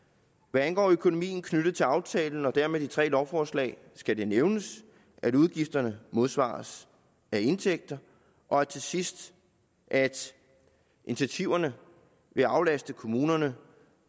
hvad angår økonomien knyttet til aftalen og dermed de tre lovforslag skal det nævnes at udgifterne modsvares af indtægter og til sidst at initiativerne vil aflaste kommunerne